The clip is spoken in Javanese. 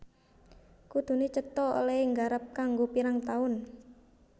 Kuduné cetha olèhé garap kanggo pirang taun